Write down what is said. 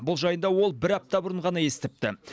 бұл жайында ол бір апта бұрын ғана естіпті